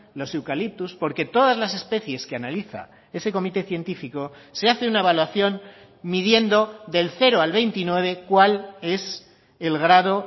los eucaliptos porque todas las especies que analiza ese comité científico se hace una evaluación midiendo del cero al veintinueve cuál es el grado